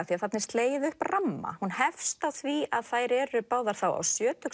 því þarna er slegið upp ramma hún hefst á því að þær eru báðar þá á